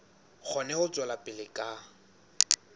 kgone ho tswela pele ka